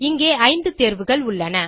இங்கே 5 தேர்வுகள் உள்ளன